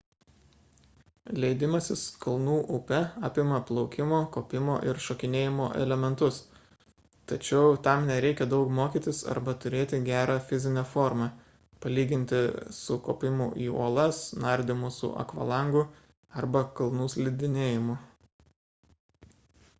leidimasis kalnų upe apima plaukimo kopimo ir šokinėjimo elementus tačiau tam nereikia daug mokytis arba turėti gerą fizinę formą palyginti su kopimu į uolas nardymu su akvalangu arba kalnų slidinėjimu